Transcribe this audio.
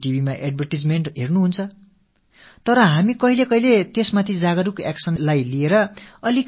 தொலைக்காட்சியில் விளம்பரங்களைப் பார்த்திருந்தாலும் இந்தக் காய்ச்சலுக்கு எதிரான நடவடிக்கைகளை மேற்கொள்வதில் எப்போதாவது சற்றே சுணக்கமாக இருந்து விடுகிறோம்